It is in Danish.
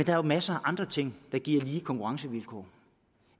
er jo masser af andre ting der giver lige konkurrencevilkår